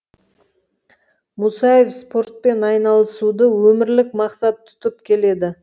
мұсаев спортпен айналысуды өмірлік мақсат тұтып келеді